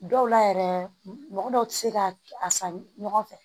Dɔw la yɛrɛ mɔgɔ dɔw ti se ka a san ɲɔgɔn fɛ